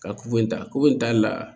Ka ku in ta ko in tali la